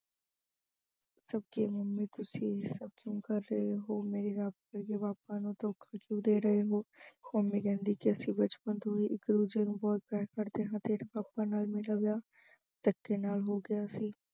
ਸੱਚੇ ਹੋਣ ਲਈ ਤੁਸੀਂ ਇਹ ਸਭ ਕਿਉਂ ਕਰ ਕਹੇ ਹੋ ਮੇਰੇ ਰੱਬ ਵਰਗੇ papa ਨੂੰ ਧੋਖਾ ਕਿਉਂ ਦੇ ਰਹੇ ਹੋ। mummy ਕਹਿੰਦੀ ਕਿ ਅਸੀਂ ਬਚਪਨ ਤੋਂ ਹੀ ਇੱਕ-ਦੂਜੇ ਨੂੰ ਬਹੁਤ ਪਿਆਰ ਕਰਦੇ ਹਾਂ, ਤੇਰੇ papa ਨਾਲ ਮੇਰਾ ਵਿਆਹ ਧੱਕੇ ਨਾਲ ਹੋ ਗਿਆ ਸੀ।